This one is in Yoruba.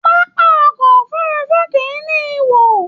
Pápá ọkọ òfurùnfu kìí ní ihò.